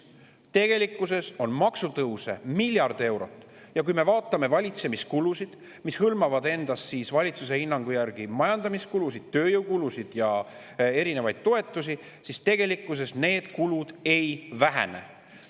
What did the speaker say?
Tegelikkuses on maksutõuse miljard eurot, aga kui me vaatame valitsemiskulusid, mis hõlmavad endas valitsuse hinnangu järgi majandamiskulusid, tööjõukulusid ja erinevaid toetusi, siis tegelikkuses need kulud ei vähene.